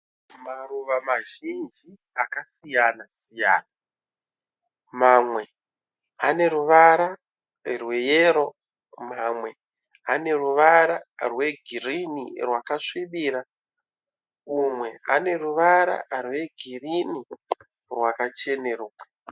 Maruva mazhinji akasiyana siyana. Mamwe ane ruvara rweyero, mamwe ane ruvara rwegirinhi rwakasvibira umwe ane ruvara rwegirinhi rwakacheneruka.